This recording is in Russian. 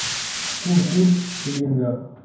курс шиллинга